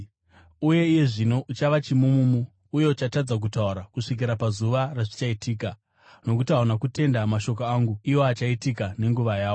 Uye iye zvino uchava chimumumu uye uchatadza kutaura kusvikira pazuva razvichaitika, nokuti hauna kutenda mashoko angu, iwo achaitika nenguva yawo.”